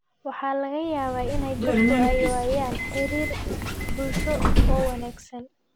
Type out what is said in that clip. Waxaa laga yaabaa in dadku ay waayaan xiriir bulsho oo wanaagsan.